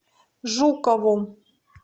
жукову